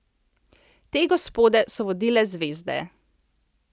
Te gospode so vodile zvezde.